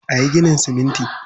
A yi ginin siminti.